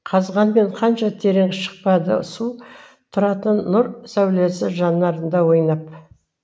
қазғанмен қанша терең шықпады су тұратын нұр сәулесі жанарында ойнап